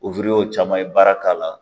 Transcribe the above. caman ye baara k'a la.